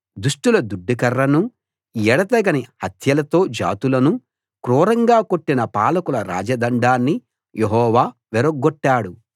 దుష్టుల దుడ్డుకర్రనూ ఎడతెగని హత్యలతో జాతులను క్రూరంగా కొట్టిన పాలకుల రాజదండాన్ని యెహోవా విరగ్గొట్టాడు